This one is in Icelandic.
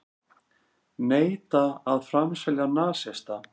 Neita að framselja nasista